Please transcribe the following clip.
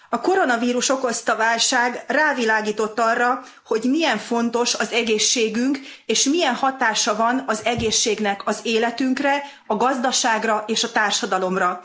A koronavírus okozta válság rávilágított arra, hogy milyen fontos az egészségünk, és milyen hatása van az egészségnek az életünkre, a gazdaságra és a társadalomra.